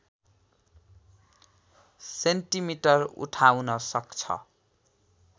centimetre उठाउन सक्छ